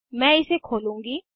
मैं इसे खोलूंगी